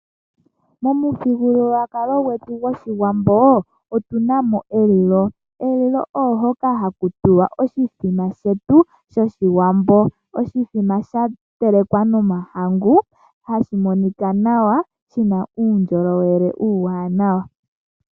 Momu thigululwakalo gwetu goshiwambo otunamo elilo, elilo oohoka haku tulwa oshithima shetu shoshiwambo. Oshithima sha telekwa nomahangu, hashi monika nawa, shina uundjolowele uuwanawa.